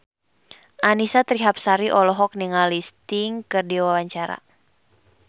Annisa Trihapsari olohok ningali Sting keur diwawancara